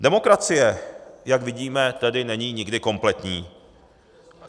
Demokracie, jak vidíme, tedy není nikdy kompletní.